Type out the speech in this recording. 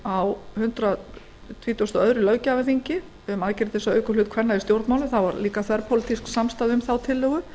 á hundrað tuttugasta og öðrum löggjafarþingi um aðgerðir til þess að auka hlut kvenna í stjórnmálum það var einnig þverpólitísk samstaða um þá tillögu